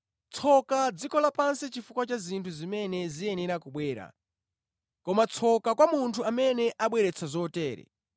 Tsoka dziko lapansi chifukwa cha zinthu zimene ziyenera kubwera, koma tsoka kwa munthu amene abweretsa zotere!